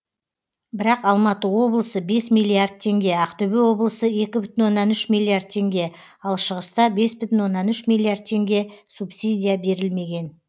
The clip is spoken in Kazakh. бірақ алматы облысы бес миллиард теңге ақтөбе облысы екі бүтін оннан үш миллиард теңге ал шығыста бес бүтін оннан үш миллиард теңге субсидия берілмеген